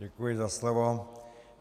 Děkuji za slovo.